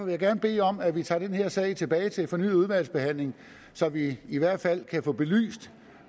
jeg gerne bede om at vi tager den her sag tilbage til fornyet udvalgsbehandling så vi i hvert fald kan få belyst